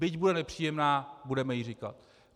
Byť bude nepříjemná, budeme ji říkat.